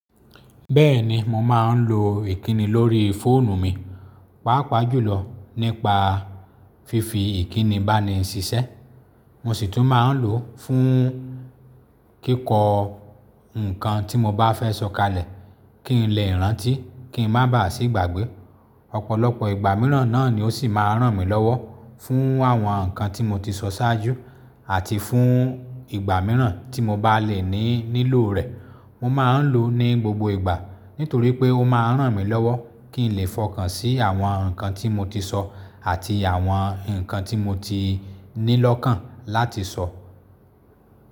Bẹ́ẹ̀ni mo máa ń lo ìkíni lórí fóònù mi, pàápàá jùlọ nípa fífi ìkíni bá ni ṣiṣẹ́. Mo sì tún máa ń lò ó fún kíkọ́ nǹkan tí mo bá fẹ́ sọ kalẹ̀, kí n lè rántí, kí n má bá à sí ìgbàgbẹ́. Ọ̀pọ̀lọpọ̀ ìgbà mìíràn náà ni ó sì máa ń ràn mí lọ́wọ́, fún àwọn nǹkan tí mo ti sọ ṣáájú, àti fún ìgbà mìíràn tí mo bá lè ní nílò rẹ̀. Mo máa ń lò ó ní gbogbo ìgbà, nítorí pé ó máa ń ràn mí lọ́wọ́ kí n lè fọkàn sí àwọn nǹkan tí mo ti sọ àti àwọn nǹkan tí mo ti ní lọ́kàn láti sọ.